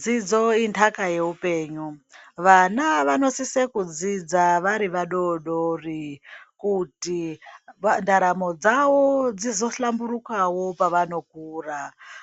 Dzidzo intaka yehupenyu, vana vanosise kudzidzidza varivadodori kuti ntaramo dzavo dzizohlamburukawo pavanokura